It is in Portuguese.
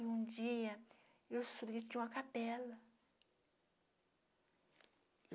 E um dia eu subi tinha uma capela.